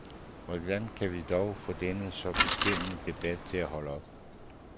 Hvordan kan vi dog få denne så beskæmmende debat til at holde op.